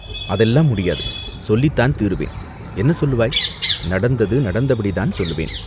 "அதெல்லாம் முடியாது, சொல்லித்தான் தீருவேன்." "என்ன சொல்லுவாய்?" நடந்தது நடந்தபடிதான் சொல்லுவேன்.